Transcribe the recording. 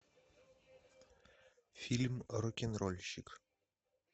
фильм рок н рольщик